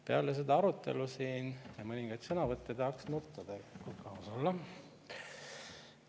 Peale seda arutelu siin, peale mõningaid sõnavõtte tahaks nutta tegelikult, kui aus olla.